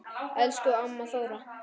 Elsku amma Þóra.